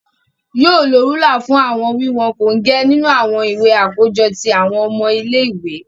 Yoo lo rúlà fún awọn wiwọn kongẹ nínú awọn ìwé akojọ ti awọn ọmọ ile-iwe.